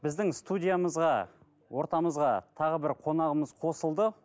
біздің студиямызға ортамызға тағы бір қонағымыз қосылды